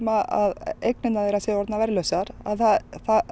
að eignir séu orðnar verðlausar það